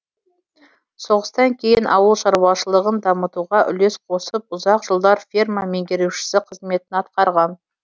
соғыстан кейін ауыл шаруашылығын дамытуға үлес қосып ұзақ жылдар ферма меңгерушісі қызметін атқарған